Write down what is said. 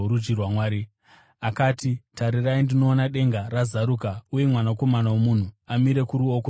Akati, “Tarirai, ndinoona denga razaruka uye Mwanakomana woMunhu amire kuruoko rworudyi rwaMwari.”